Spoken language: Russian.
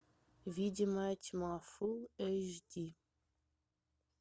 видимая тьма фул эйч ди